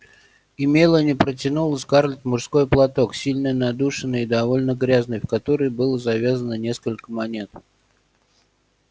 и мелани протянула скарлетт мужской платок сильно надушенный и довольно грязный в который было завязано несколько монет